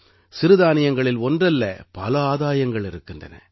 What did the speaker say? சிறுதானியங்களில் ஒன்றல்ல பல ஆதாயங்கள் இருக்கின்றன